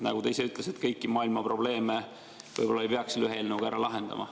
Nagu te ise ütlesite, kõiki maailma probleeme võib-olla ei peaks ühe eelnõuga ära lahendama.